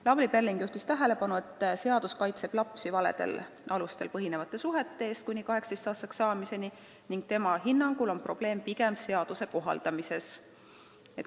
Lavly Perling juhtis tähelepanu, et seadus kaitseb lapsi valedel alustel põhinevate suhete eest kuni 18-aastaseks saamiseni, tema hinnangul on probleem pigem seaduse kohaldamises.